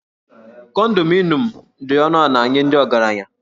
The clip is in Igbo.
Kondominiụm dị ọnụ ala nye ndị ọgaranya